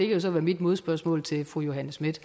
jo så være mit modspørgsmål til fru johanne schmidt